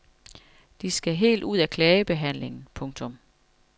De skal helt ud af klagebehandlingen. punktum